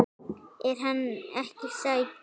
Er hann ekki sætur?